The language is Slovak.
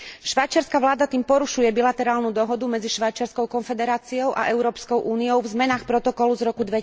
Švajčiarska vláda tým porušuje bilaterálnu dohodu medzi Švajčiarskou konfederáciou a Európskou úniou v zmenách protokolu z roku